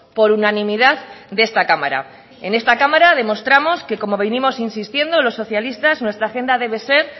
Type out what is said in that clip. por unanimidad de esta cámara en esta cámara demostramos que como vinimos insistiendo los socialistas nuestra agenda debe ser